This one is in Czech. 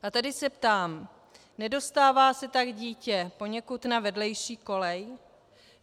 A tady se ptám: Nedostává se tak dítě poněkud na vedlejší kolej?